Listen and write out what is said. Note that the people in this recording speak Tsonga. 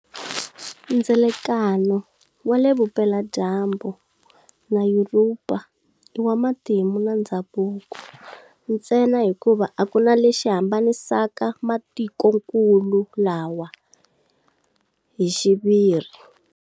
Ndzelakano wale vupela dyambu na Yuropa iwa matimu na ndzhavuko ntsena hikuva akuna lexi hambanisaka matikonkulu lawa hixiviri.